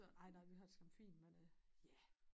Ej nej vi har det sgu fint men øh ja